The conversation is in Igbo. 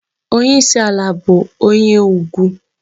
Onyeisi ala bụ onye ugwu.